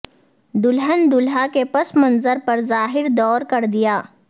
دلہن دولہا کے پس منظر پر ظاہر دور کر دیا